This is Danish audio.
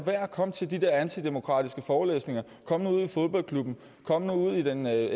med at komme til de der antidemokratiske forelæsninger kom nu ud i fodboldklubben kom nu ud i den